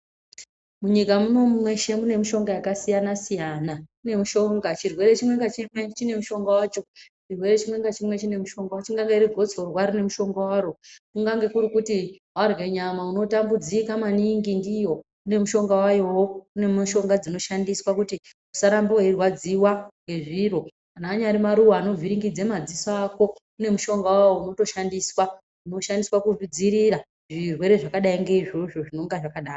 Munyika muno mweshe mune mishonga yakasiyanasiyana kune mushonga, chirwere chimwe ngachimwe chine mushongo wacho, chirerwe chimwe nachimwe chine mushongo wacho, ingadai riri gotsorwa rine mushonga waro, kukange kurikuti warye nyama unotambudzika maningi ndiyo inomushonga wayowo ,kune mishonga dzinoshandiswa kuti usarambe weirwadziwa ngezviro, kana anyari maruwa anovhiringidza madziso ako kune mushonga wawo unotoshandiswa, unoshandiswa kudziirira zvirwere zvakadi nge izvozvo zvinonga zvakadaro.